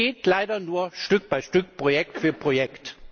Es geht leider nur Stück für Stück, Projekt für Projekt!